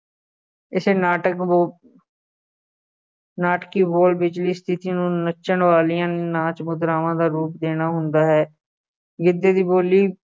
ਇਸੇ ਨਾਟਕ ਬੋ~ ਨਾਟਕੀ ਬੋਲ ਵਿਚਲੀ ਸਥਿਤੀ ਨੂੰ ਨੱਚਣ ਵਾਲੀਆਂ ਨਾਚ ਮੁਦਰਾਵਾਂ ਦਾ ਰੂਪ ਦੇਣਾ ਹੁੰਦਾ ਹੈ। ਗਿੱਧੇ ਦੀ ਬੋਲੀ